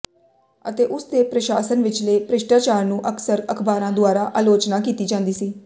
ਅਤੇ ਉਸ ਦੇ ਪ੍ਰਸ਼ਾਸਨ ਵਿਚਲੇ ਭ੍ਰਿਸ਼ਟਾਚਾਰ ਨੂੰ ਅਕਸਰ ਅਖ਼ਬਾਰਾਂ ਦੁਆਰਾ ਆਲੋਚਨਾ ਕੀਤੀ ਜਾਂਦੀ ਸੀ